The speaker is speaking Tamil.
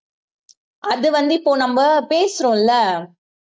அது வந்து இப்போ நம்ம பேசுறோம் இல்ல